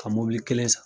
Ka mobili kelen san